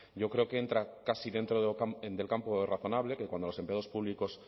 yo creo que entra casi dentro del campo razonable que cuando los empleados públicos